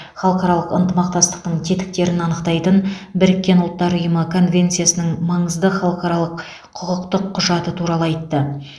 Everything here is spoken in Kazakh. халықаралық ынтымақтастықтың тетіктерін анықтайтын біріккен ұлттар ұйымы конвенциясының маңызды халықаралық құқықтық құжаты туралы айтты